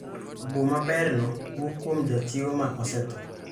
Obo ma berno wuok kuom jachiwo ma osetho.